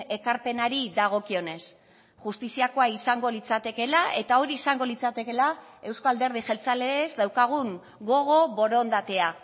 ekarpenari dagokionez justiziakoa izango litzatekeela eta hori izango litzatekeela euzko alderdi jeltzaleez daukagun gogo borondatea